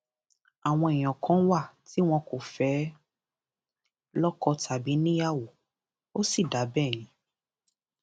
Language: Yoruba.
àwọn èèyàn kan wà tí wọn kò fẹẹ lọkọ tàbí níyàwó ó sì dáa bẹẹ yẹn